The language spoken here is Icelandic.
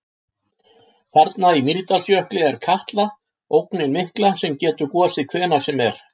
Þarna í Mýrdalsjökli er Katla, ógnin mikla sem getur gosið hvenær sem er.